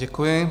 Děkuji.